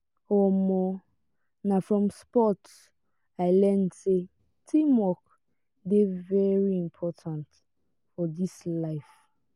um na from sports i learn sey teamwork dey very important for dis life.